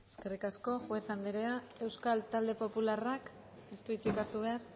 eskerrik asko juez anderea euskal talde popularrak ez du hitzik hartu behar